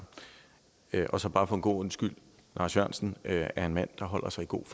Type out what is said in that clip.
det er korrekt så bare for god ordens skyld lars jørgensen er en mand der holder sig i god